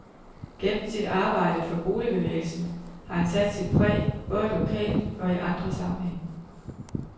Gennem sit arbejde for boligbevægelsen har han sat sit præg, både lokalt og i mange andre sammenhænge.